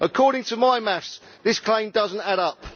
According to my maths, this claim does not add up.